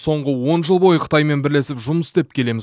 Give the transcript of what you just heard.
соңғы он жыл бойы қытаймен бірлесіп жұмыс істеп келеміз